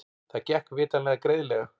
Það gekk vitanlega greiðlega.